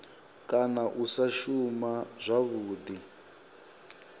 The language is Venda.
kana u sa shuma zwavhudi